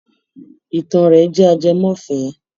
Ìtàn rẹ̀ jẹ́ ajẹmọ́fẹ̀ẹ́.